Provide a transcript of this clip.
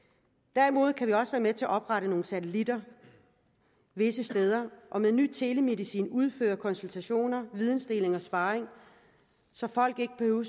derimod kan vi også være med til at oprette nogle satellitter visse steder og med ny telemedicin udføre konsultationer vidensdeling og sparring så folk ikke behøver